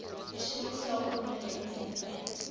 persone sakeondernemings entiteite